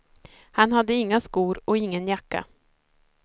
Han hade inga skor och ingen jacka.